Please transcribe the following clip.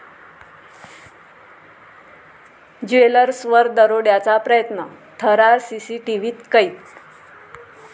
ज्वेलर्स'वर दरोड्याचा प्रयत्न, थरार सीसीटीव्हीत कैद